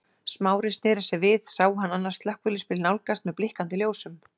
Smári sneri sér við sá hann annan slökkviliðsbíl nálgast með blikkandi ljósum.